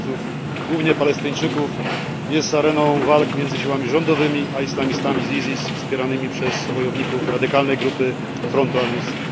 uchodźców, głównie Palestyńczyków, jest areną walk między siłami rządowymi a islamistami z ISIS wspieranymi przez wojowników radykalnej grupy frontu al Nusra.